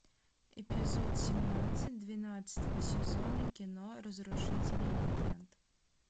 эпизод семнадцать двенадцатого сезона кино разрушители легенд